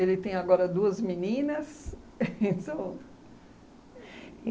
tem agora duas meninas